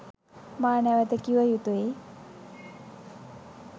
මා නැවත කිව යුතුයි.